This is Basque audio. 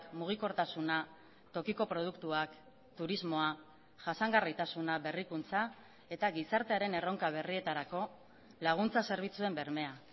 mugikortasuna tokiko produktuak turismoa jasangarritasuna berrikuntza eta gizartearen erronka berrietarako laguntza zerbitzuen bermea